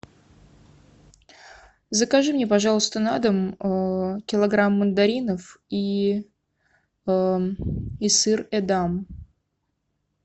закажи мне пожалуйста на дом килограмм мандаринов и сыр эдам